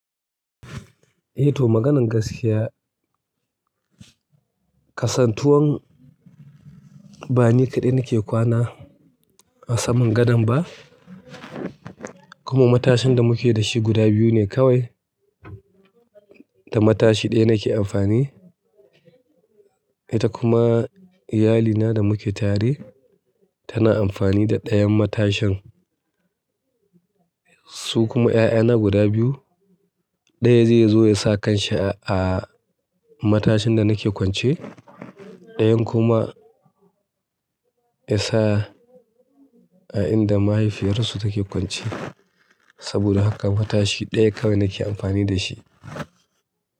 Eh to maganan gaskiya, kasantuwan ba ni kaɗai nake kwana a saman gadon ba kuma matashin da muke da shi guda biyu ne kawai. Da matashi ɗaya nake amfani ita kuma iyalina da muke tare tana amfani da ɗayan matashin su kuma 'ya'yana guda biyu. Ɗaya zai zo ya sa kanshi a matashin da nake kwance ɗayan kuma ya sa a inda mahaifiyarsu take kwance saboda haka matashi ɗaya kawai nake amfani da shi.